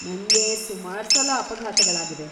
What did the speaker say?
ನಂಗೆ ಸುಮಾರ್ಸಲ ಅಪಘಾತಗಳಾಗಿವೆ.